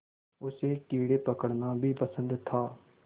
उसे कीड़े पकड़ना भी पसंद था